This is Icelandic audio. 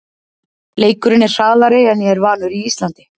Leikurinn er hraðari en ég er vanur í Íslandi.